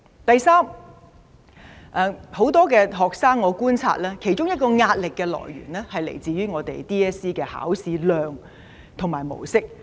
第三點，我觀察到很多學生的其中一個壓力來源，是來自香港中學文憑考試的考試範圍及模式。